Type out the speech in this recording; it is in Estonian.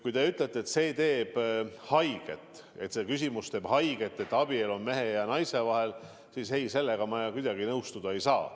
Kui te ütlete, et see küsimus, kas abielu on mehe ja naise vahel, teeb haiget, siis sellega ma kuidagi nõustuda ei saa.